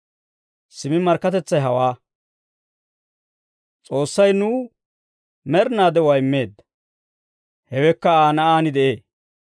Simmi markkatetsay hawaa; S'oossay nuw med'inaa de'uwaa immeedda; hewekka Aa Na'aan de'ee.